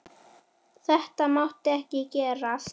Þetta mátti ekki gerast!